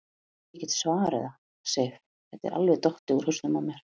Ég get svarið það, Sif, þetta var alveg dottið út úr hausnum á mér.